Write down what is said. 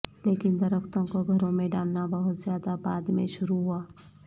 لیکن درختوں کو گھروں میں ڈالنا بہت زیادہ بعد میں شروع ہوا